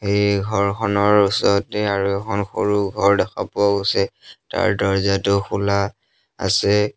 এই ঘৰখনৰ ওচৰতে আৰু এখন সৰু ঘৰ দেখা পোৱা গৈছে তাৰ দৰ্জাটো খোলা আছে।